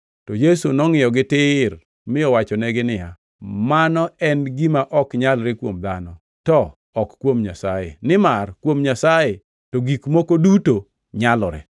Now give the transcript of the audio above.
To Yesu nongʼiyogi tir mi owachonegi niya, “Mano en gima ok nyalre kuom dhano, to ok kuom Nyasaye, nimar kuom Nyasaye to gik moko duto nyalore.”